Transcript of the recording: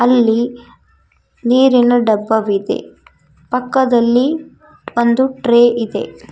ಇಲ್ಲಿ ನೀರಿನ ಡಬ್ಬವಿದೆ ಪಕ್ಕದಲ್ಲಿ ಒಂದು ಟ್ರೇ ಇದೆ.